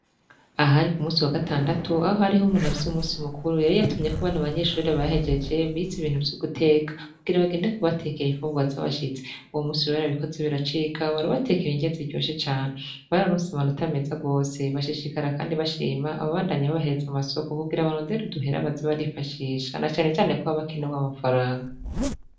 Ahari ku musi wa gatandatu aho hariho umuntu avisi w'umusi mukuru yari yatumye ko banu abanyeshuri bahejeje biza ibintu vy'uguteka kugira abagendeko batekeye ifubwa z'abashitse uwo musi urihera bikozi biracika baribatekera ingezi ryoshe canu bar arunse abanota ameza rwose bashishikara, kandi bashima ababandanyi babaheza amasoko kubgira abarondera uduhera bazibarifashisha anecane ko babakenewa amafaranga.